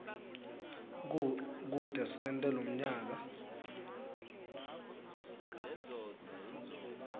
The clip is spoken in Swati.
kute sente lomnyaka